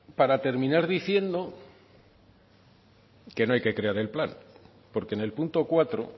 para terminar diciendo que no hay que crear el plan porque en el punto cuatro